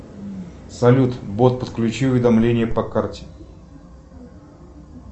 салют бот подключи уведомление по карте